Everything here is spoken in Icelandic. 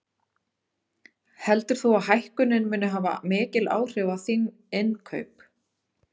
Heldur þú að hækkunin muni hafa mikil áhrif á þín innkaup?